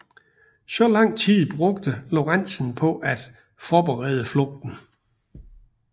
Så lang tid brugte Lorentzen på at forberede flugten